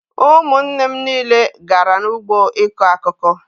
Ụmụnne m niile gara n'ugbo ịkụ akụkụ.